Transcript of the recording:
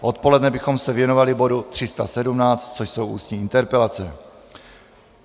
Odpoledne bychom se věnovali bodu 317, což jsou ústní interpelace.